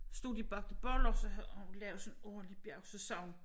Stod de bagte boller så havde hun lavet sådan et ordentlig bjerg så sagde hun